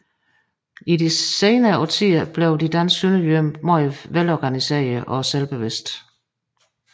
I de senere årtier blev de danske sønderjyder meget velorganiserede og selvbevidste